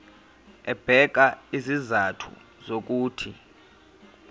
ebeka izizathu zokuthi